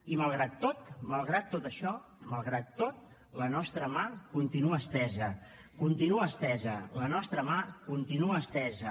i malgrat tot malgrat tot això malgrat tot la nostra mà continua estesa la nostra mà continua estesa